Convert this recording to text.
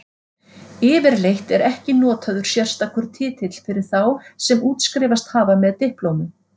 Yfirleitt er ekki notaður sérstakur titill fyrir þá sem útskrifast hafa með diplómu.